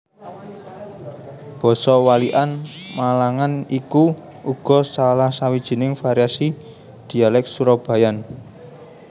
Basa Walikan Malangan iku uga salah sawijining variasi Dhialèk Surabayaan